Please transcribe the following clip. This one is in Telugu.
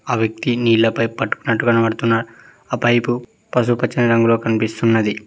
ఆ వ్యక్తి నీలపై పట్టుకున్నట్టు కనబడుతున్నాడు ఆ పైపు పసుపచ్చని రంగులో కనిపిస్తున్నది.